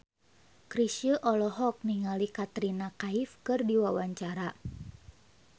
Chrisye olohok ningali Katrina Kaif keur diwawancara